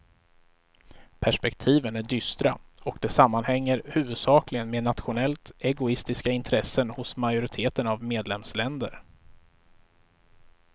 Perspektiven är dystra och det sammanhänger huvudsakligen med nationellt egoistiska intressen hos majoriteten av medlemsländer.